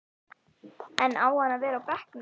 En á hann að vera á bekknum?